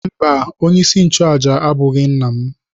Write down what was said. Mba, onyeisi nchụàjà abụghị nna m.